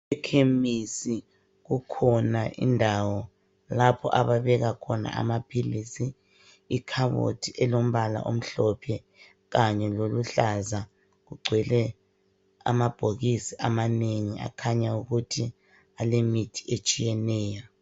Ekhemisi kukhona indawo lapho ababeka khona amaphilisi. Ikhabothi elombala omhlophe kanye loluhlaza. Kugcwele amabhokisi amanengi akhanya ukuthi alemithi etshiyeneyo.